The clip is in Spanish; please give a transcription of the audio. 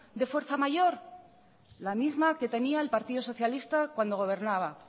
de fuerza mayor la misma que tenía el partido socialista cuando gobernaba